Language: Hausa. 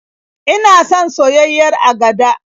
Ina son soyayyiyar agada.